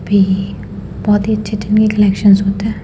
भी बहुत ही अच्छे-अच्छे न्यू कलेक्शनस होते हैं।